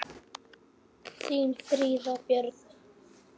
Þín Fríða Björk.